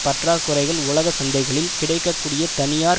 பற்றாக்குறைகள் உலக சந்தைகளில் கிடைக்க கூடிய தனியார்